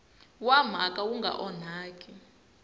wa mhaka wu nga onhaki